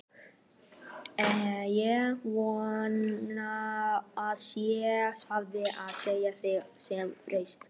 Ég vona að ég fái að sjá þig sem fyrst.